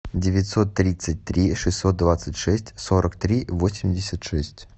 девятьсот тридцать три шестьсот двадцать шесть сорок три восемьдесят шесть